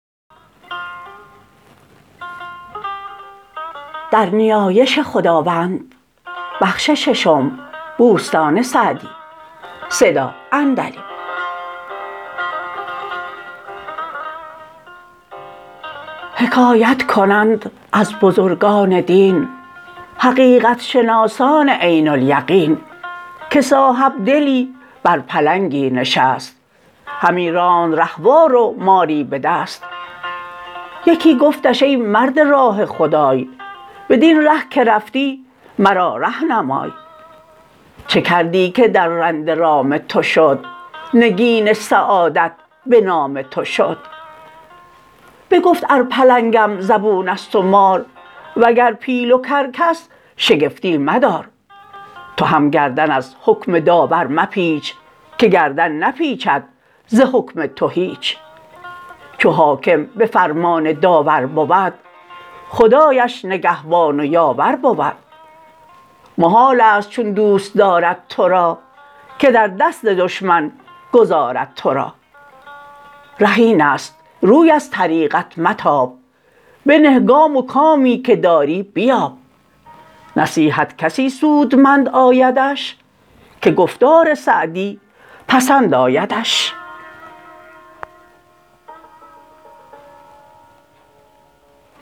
حکایت کنند از بزرگان دین حقیقت شناسان عین الیقین که صاحبدلی بر پلنگی نشست همی راند رهوار و ماری به دست یکی گفتش ای مرد راه خدای بدین ره که رفتی مرا ره نمای چه کردی که درنده رام تو شد نگین سعادت به نام تو شد بگفت ار پلنگم زبون است و مار وگر پیل و کرکس شگفتی مدار تو هم گردن از حکم داور مپیچ که گردن نپیچد ز حکم تو هیچ چو حاکم به فرمان داور بود خدایش نگهبان و یاور بود محال است چون دوست دارد تو را که در دست دشمن گذارد تو را ره این است روی از طریقت متاب بنه گام و کامی که داری بیاب نصیحت کسی سودمند آیدش که گفتار سعدی پسند آیدش